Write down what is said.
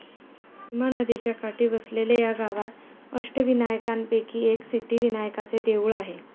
भीमा नदीच्या काठी वसलेल्या या गावात अष्टविनायकांपैकी एक सिद्धिविनायकाचे देऊळ आहे.